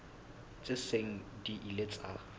tse seng di ile tsa